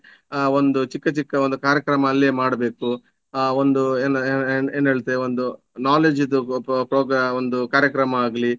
ಆ ಒಂದು ಚಿಕ್ಕ ಚಿಕ್ಕ ಒಂದು ಕಾರ್ಯಕ್ರಮ ಅಲ್ಲಿಯೇ ಮಾಡ್ಬೇಕು ಆ ಒಂದು ಏನ್ ಏನ್ ಏನ್ ಏನ್ ಹೇಳ್ತೇವೆ ಒಂದು knowledge ಇದು prog~ ಒಂದು ಕಾರ್ಯಕ್ರಮ ಆಗ್ಲಿ